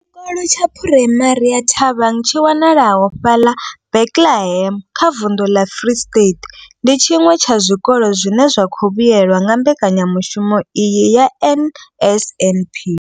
Tshikolo tsha Phuraimari ya Thabang tshi wanalaho fhaḽa Bethlehem kha vunḓu ḽa Free State, ndi tshiṅwe tsha zwikolo zwine zwa khou vhuelwa nga mbekanyamushumo iyi ya NSNP.